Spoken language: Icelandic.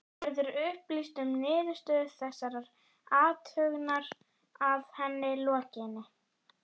Verður upplýst um niðurstöðu þessarar athugunar að henni lokinni?